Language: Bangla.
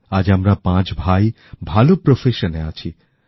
আজ আমরা পাঁচ ভাই ভালো জীবিকায় আছি